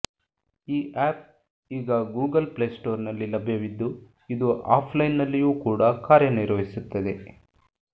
ಈ ಆಪ್ ಈಗ Google play store ನಲ್ಲಿ ಲಭ್ಯವಿದ್ದು ಇದು ಆಫ್ ಲೈನ್ ನಲ್ಲಿಯೂ ಕೂಡ ಕಾರ್ಯನಿರ್ವಹಿಸುತ್ತದೆ